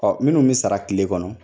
Ɔ minnu be sara kile kɔnɔ